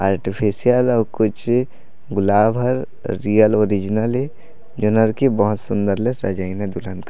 artificial अउ कुछ गुलाब हर रियल ओरिजिनल हरे जो लड़की बहुत सुन्दर ले सजाईल हे दुल्हन ला --